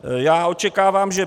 Já očekávám, že